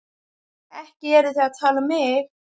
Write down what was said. Ekki eruð þið að tala um mig?